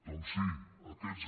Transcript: doncs sí aquests